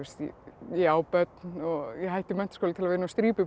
ég á börn og hætti í menntaskóla til að vinna á